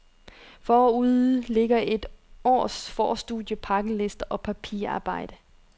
Forude ligger et års forstudier, pakkelister og papirarbejde.